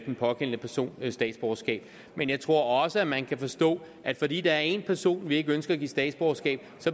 den pågældende person statsborgerskab men jeg tror også man kan forstå at fordi der er en person vi ikke ønsker at give statsborgerskab